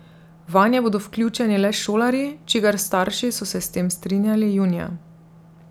Vanje bodo vključeni le šolarji, čigar starši so se s tem strinjali junija.